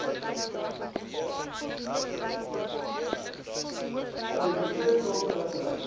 steroïede o sonskermmiddels